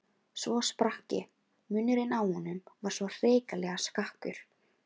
Svo sprakk ég, munnurinn á honum var svo hrikalega skakkur.